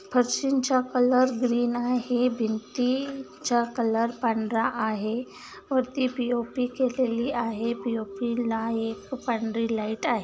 फरशिंचा colour green आहे भिंती चा कलर पांढरा आहे वरती पी_ओ_पी केलेली आहे पी_ओ_पी ला एक पांढरी लाईट आहे.